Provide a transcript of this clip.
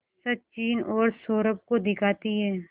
सचिन और सौरभ को दिखाती है